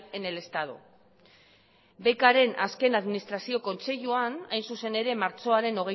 en el estado becren azken administrazio kontseiluan hain zuzen ere martxoaren